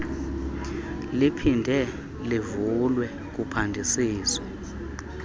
liphinde livulwe kuphandisiswe